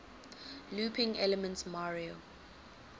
looping elements mario